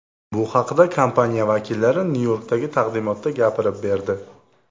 Bu haqda kompaniya vakillari Nyu-Yorkdagi taqdimotda gapirib berdi.